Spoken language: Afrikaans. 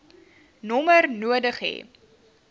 nommer nodig hê